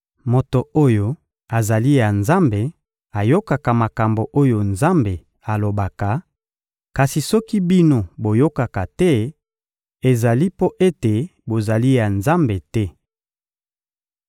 Moto oyo azali ya Nzambe ayokaka makambo oyo Nzambe alobaka; kasi soki bino boyokaka te, ezali mpo ete bozali ya Nzambe te.